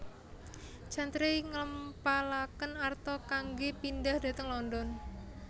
Chantrey ngempalaken arta kanggé pindhah dhateng London